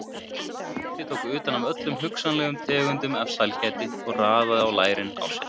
Tóti tók utan af öllum hugsanlegum tegundum af sælgæti og raðaði á lærin á sér.